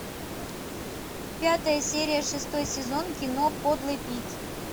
пятая серия шестой сезон кино подлый пит